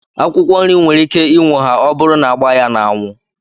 Akwụkwọ nri nwere ike inwoha ọburu na agba ya na anwu